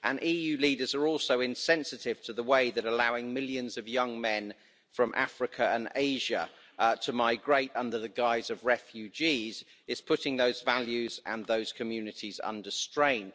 EU leaders are also insensitive to the way that allowing millions of young men from Africa and Asia to migrate under the guise of refugees is putting those values and those communities under strain.